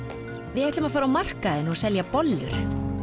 við ætlum að fara á markaðinn og selja bollur